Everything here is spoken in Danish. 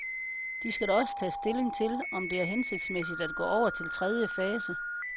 De skal også tage stilling til, om det er hensigtsmæssigt at gå over til tredje fase.